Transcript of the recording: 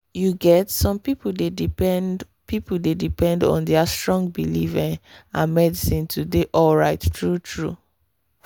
you get some people dey depend people dey depend on their strong belief ehh and medicine to dey alright true-true.